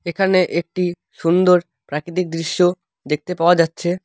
এখানে একটি সুন্দর প্রাকৃতিক দৃশ্য দেখতে পাওয়া যাচ্ছে।